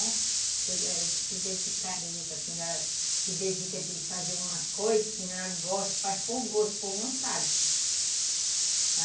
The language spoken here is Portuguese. A gente se dedicar, por exemplo, se dedica a fazer uma coisa, a senhora gosta, faz por gosto, por vontade.